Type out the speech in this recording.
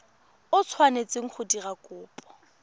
o tshwanetseng go dira kopo